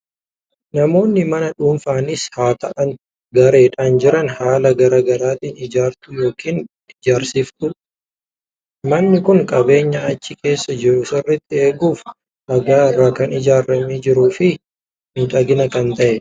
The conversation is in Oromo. Namoonni mana dhuunfaanis haa ta'u gareedhaan ijaaran haala garaa garaatiin ijaarratu yookiin ijaarsifatu. Manni kun qabeenya achi keessa jiru sirriitti eeguuf dhagaa irraa kan ijaaramee jiruu fi miidhagaa kan ta'edha.